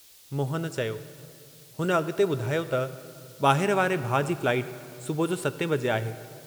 मोहन चयो, हुन अग॒ते बुधायो त, "बाहिर वारे भाउ जी फ्लाईट सुबुह जो 7 बजे आहे।